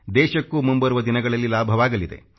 ದೇಶಕ್ಕೂ ಮುಂಬರುವ ದಿನಗಳಲ್ಲಿ ಲಾಭವಾಗಲಿದೆ